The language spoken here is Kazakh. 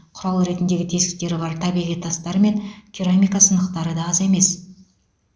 құрал ретіндегі тесіктері бар табиғи тастар мен керамика сынықтары да аз емес